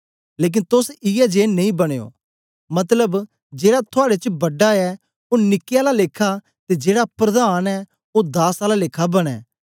लेकन तोस इयै जिए नेई बनयो मतलब जेड़ा थुआड़े च बड़ा ऐ ओ निक्के आला लेखा ते जेड़ा प्रधान ऐ ओ दास आला लेखा बनें